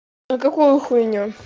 а какую хуйню